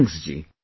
Thanks ji